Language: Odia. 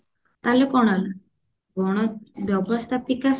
ତାହେଲେ କଣ ହେଲା ଗଣ ବ୍ୟବସ୍ତାପିକା ସଭା